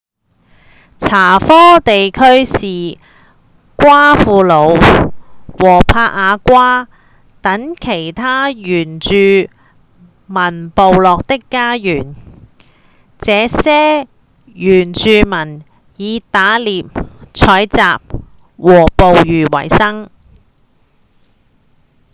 查科地區是瓜庫魯和帕亞瓜等其他原住民部落的家園這些原住民以打獵、採集和捕魚維生